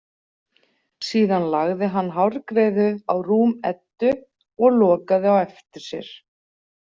Síðan lagði hann hárgreiðu á rúm Eddu og lokaði á eftir sér.